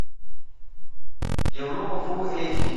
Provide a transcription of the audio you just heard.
европа фул эйч ди